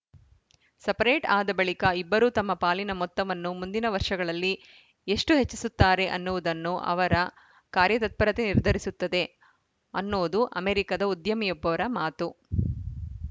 separate ಆದ ಬಳಿಕ ಇಬ್ಬರೂ ತಮ್ಮ ಪಾಲಿನ ಮೊತ್ತವನ್ನು ಮುಂದಿನ ವರ್ಷಗಳಲ್ಲಿ ಎಷ್ಟುಹೆಚ್ಚಿಸುತ್ತಾರೆ ಅನ್ನುವುದನ್ನು ಅವರ ಕಾರ‍್ಯತತ್ಪರತೆ ನಿರ್ಧರಿಸುತ್ತದೆ ಅನ್ನೋದು ಅಮೆರಿಕದ ಉದ್ಯಮಿಯೊಬ್ಬರ ಮಾತು